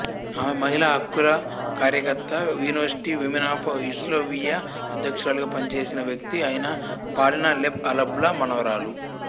ఆమె మహిళా హక్కుల కార్యకర్త యూనివర్సిటీ విమెన్ ఆఫ్ యుగోస్లావియా అధ్యక్షురాలిగా పనిచేసిన వ్యక్తి అయిన పాలినా లెబ్ల్అల్బాలా మనవరాలు